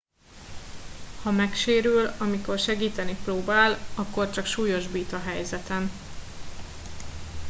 ha megsérül amikor segíteni próbál akkor csak súlyosbít a helyzeten